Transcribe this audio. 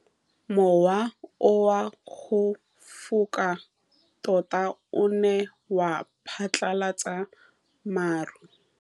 Mowa o wa go foka tota o ne wa phatlalatsa maru.